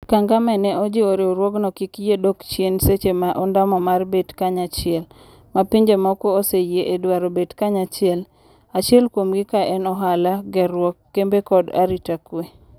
kagame ne ojiwo ni riwruogno kik yie dok chien seche ma ondamo mar bet kanyachiel. ma pinje moko oseyie e dwaro bet kanyachiel, acheil kuomgi kaen ohala, gerwuok, kembe koda arita kwe